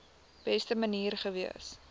beste manier gewees